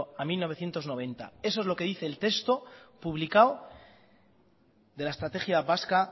al mil novecientos noventa eso es lo que dice el texto publicado de la estrategia vasca